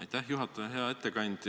Aitäh, juhataja!